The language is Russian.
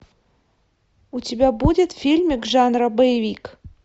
у тебя будет фильмик жанра боевик